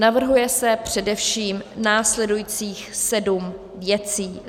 Navrhuje se především následujících sedm věcí: